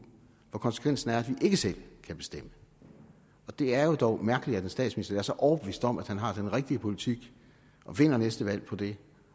hvor konsekvensen er at vi ikke selv kan bestemme og det er jo dog mærkeligt at en statsminister er så overbevist om at han har den rigtige politik og vinder næste valg på det